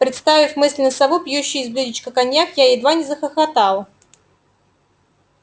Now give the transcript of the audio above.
представив мысленно сову пьющую из блюдечка коньяк я едва не захохотал